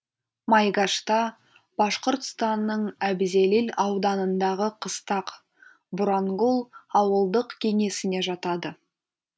майгашта башқұртстанның әбзелил ауданындағы қыстақ бурангул ауылдық кеңесіне жатады